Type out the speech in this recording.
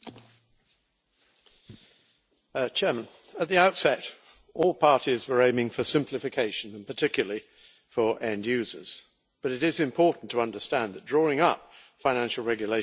Madam President, at the outset, all parties were aiming for simplification, particularly for end users, but it is important to understand that drawing up financial regulations is inevitably a balancing act.